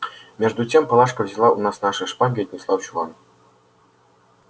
между тем палашка взяла у нас наши шпаги и отнесла в чулан